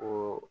O